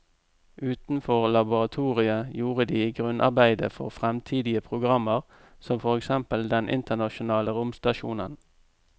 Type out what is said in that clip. Utenfor laboratoriet gjorde de grunnarbeidet for fremtidige programmer som for eksempel den internasjonale romstasjonen.